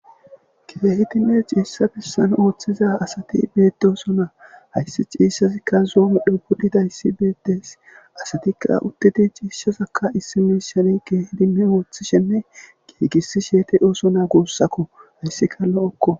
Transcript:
kitehitinne ciissha bissan ooththiza asati beedooso na hayssi ciisshasikka zoomi dhubudida yssi beettes asatikka utteti ciishasaka issi miishane keehidime wooththishenne giigisi sheete oosona goossakko hayssika lo7okko